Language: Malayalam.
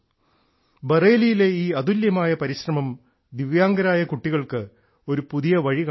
ബറേലിയിലെ ഈ അതുല്യമായ പരിശ്രമം ദിവ്യാംഗരായ കുട്ടികൾക്ക് ഒരു പുതിയ വഴി കാണിക്കുന്നു